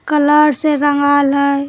Colour से रंगल हेय ।